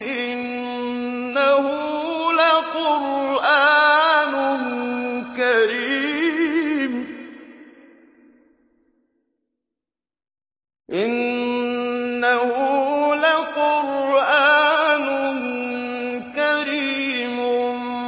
إِنَّهُ لَقُرْآنٌ كَرِيمٌ